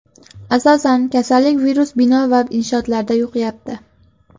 Asosan, kasallik virusi bino va inshootlarda yuqyapti.